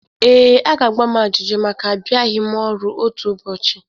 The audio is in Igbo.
Ee, a ga-agba m ajụjụ maka abịaghi ọrụ otu ụbọchị.